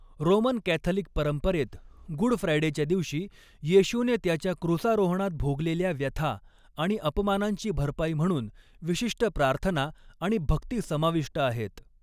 Roman Catholic परंपरेत, good फ्रायडेच्या दिवशी येशूने त्याच्या क्रूसारोहणात भोगलेल्या व्यथा आणि अपमानांची भरपाई म्हणून विशिष्ट प्रार्थना आणि भक्ती समाविष्ट आहेत.